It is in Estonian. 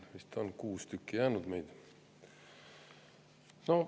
Meid on vist kuus tükki veel siia jäänud.